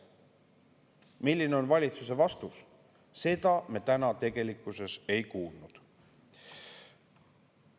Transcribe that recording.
Milline on valitsuse vastus, seda me täna tegelikkuses ei kuulnud.